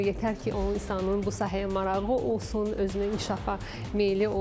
Yetər ki, onun insanın bu sahəyə marağı olsun, özünə inkişafa meyilli olsun.